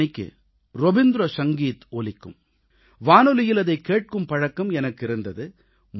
30 மணிக்கு ரவீந்திர சங்கீத் தொடங்கும் வானொலியில் அதைக் கேட்கும் பழக்கம் எனக்கிருந்தது